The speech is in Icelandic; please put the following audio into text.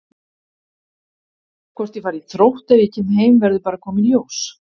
Hvort ég fari í Þrótt ef ég kem heim verður bara að koma í ljós.